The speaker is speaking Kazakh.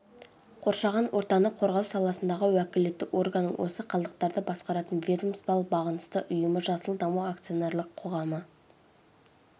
қоршаған ортаны қорғау саласындағы уәкілетті органның осы қалдықтарды басқаратын ведомстволық бағынысты ұйымы жасыл даму акционерлік қоғамы